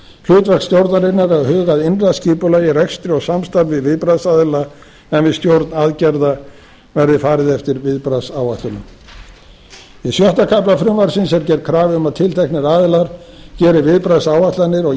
hlutverk stjórnarinnar er að huga að innra skipulagi rekstri og samstarfi viðbragðsaðila en við stjórn aðgerða verði farið eftir viðbragðsáætlunum í sjötta kafla frumvarpsins er gerð krafa um að tilteknir aðilar geri viðbragðsáætlanir og